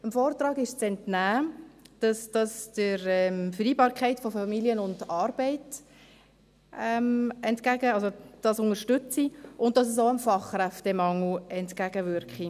Dem Vortrag ist zu entnehmen, dass dies die Vereinbarkeit von Familie und Arbeit unterstütze und dass es auch dem Fachkräftemangel entgegenwirke.